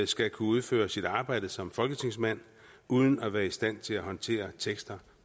skal kunne udføre sit arbejde som folketingsmand uden at være i stand til at håndtere tekster